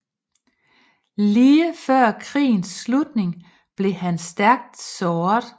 Lige før krigens slutning blev han stærkt såret